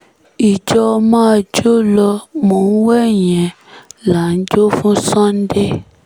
ìjọ máa jó lọ mò ń wẹ̀yìn ẹ̀ là ń jó fún sunday